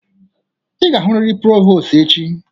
Ị ga-ahụrịrị prọvostụ echi!